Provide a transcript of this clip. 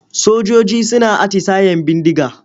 Sojoji suna atisayen bindiga.